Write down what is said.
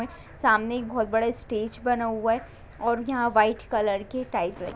सामने एक बहोत बड़ा स्टेज बना हुआ है और यहां वाइट कलर के टाइल्स लगी है।